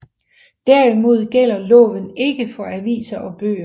Derimod gælder loven ikke for aviser og bøger